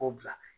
K'o bila